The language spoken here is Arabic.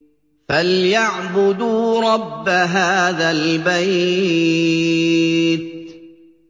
فَلْيَعْبُدُوا رَبَّ هَٰذَا الْبَيْتِ